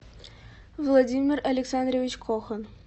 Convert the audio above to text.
владимир александрович кохан